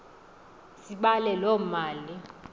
sibale loo mali